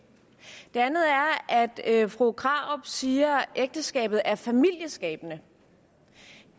det andet er at fru krarup siger at ægteskabet er familieskabende